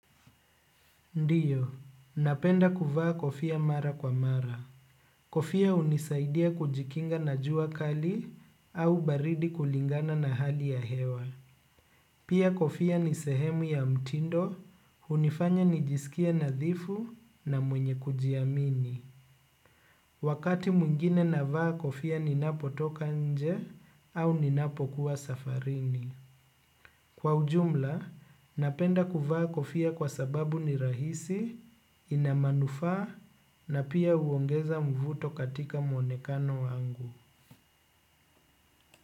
Ndiyo, napenda kuvaa kofia mara kwa mara. Kofia hunisaidia kujikinga na jua kali au baridi kulingana na hali ya hewa. Pia kofia ni sehemu ya mtindo, hunifanya nijisikie nadhifu na mwenye kujiamini. Wakati mwingine navaa kofia ninapotoka nje au ninapokuwa safarini. Kwa ujumla, napenda kuvaa kofia kwa sababu ni rahisi, ina manufaa na pia huongeza mvuto katika mwonekano wangu.